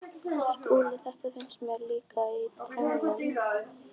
SKÚLI: Þetta fannst mér líka- í draumnum.